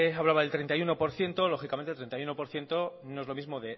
hablaba del treinta y uno por ciento lógicamente treinta y uno por ciento no es lo mismo